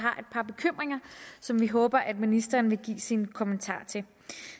par bekymringer som vi håber ministeren vil give sin kommentar til